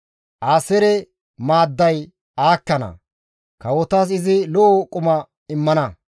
«Aaseere maadday aakkana; kawotas izi lo7o quma immana.